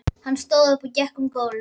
Hann stóð upp og gekk um gólf.